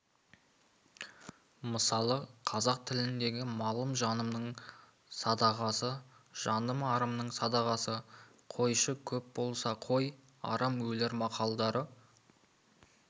мысалы қазақ тіліндегі малым жанымның садағасы жаным арымның садағасы қойшы көп болса қой арам өлер мақалдары